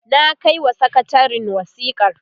na kaiwa sakatarin wasikar